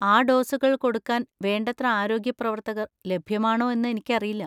ആ ഡോസുകൾ കൊടുക്കാൻ വേണ്ടത്ര ആരോഗ്യ പ്രവർത്തകർ ലഭ്യമാണോ എന്ന് എനിക്കറിയില്ല.